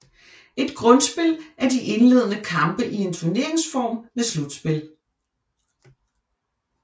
Et grundspil er de indlende kampe i en turneringsform med slutspil